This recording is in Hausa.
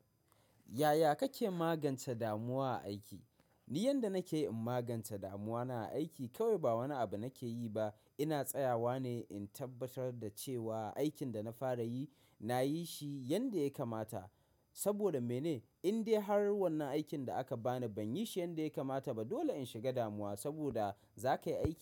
Yaya kake magance damuwa a aiki? Ni yanda nake yi in magance damuwana a aiki kawai ba wani abu nake yi ba. Ina tsayawa ne in tabbatar da cewa aikin da na fara yi, na yi shi yanda ya kamata. Saboda mene? In dai har wannan aikin da aka bani ban yi shi yanda ya kamata ba dole in shiga damuwa saboda za ka yi aiki.